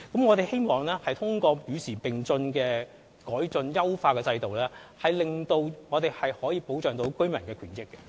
我們希望通過與時並進的措施來改進、優化制度，保障居民的權益。